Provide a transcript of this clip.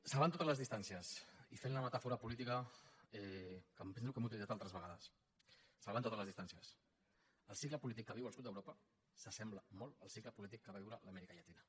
salvant totes les distàncies i fent la metàfora política que em penso que hem utilitzat altres vegades salvant totes les distàncies el cicle polític que viu el sud d’europa s’assembla molt al cicle polític que va viure l’amèrica llatina